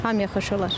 Hamıya xoş olar.